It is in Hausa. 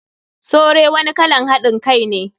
Sure wani kalan hadin Kai ne.